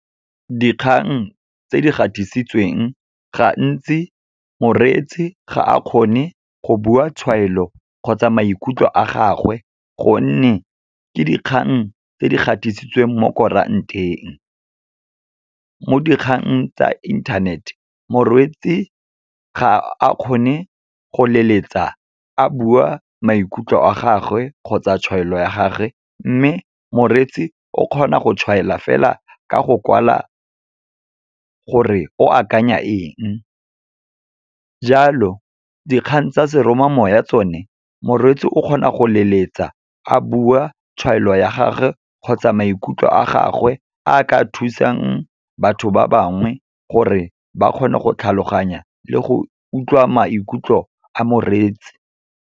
Dikgang tse di gatisitsweng gantsi moreetsi ga a kgone go bua tshwaelo kgotsa maikutlo a gagwe, gonne ke dikgang tse di gatisitsweng mo koerant-eng. Mo dikgang tsa internet, ga a kgone go leletsa, a bua maikutlo a gagwe kgotsa tshwaelo ya gage, mme moreetsi o kgona go tshwaela fela ka go kwala gore o akanya enge. Jalo, dikgang tsa seromamoya tsone, moreetsi o kgona go leletsa a bua tshwaelo ya gagwe kgotsa maikutlo a gagwe a ka thusang batho ba bangwe, gore ba kgone go tlhaloganya le go utlwa maikutlo a moreetsi.